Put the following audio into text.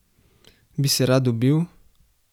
Bi se rad ubil?